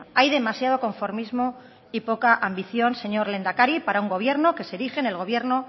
hay demasiado conformismo y poca ambición señor lehendakari para un gobierno que se erige en el gobierno